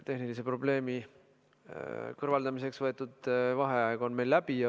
Tehnilise probleemi kõrvaldamiseks võetud vaheaeg on läbi.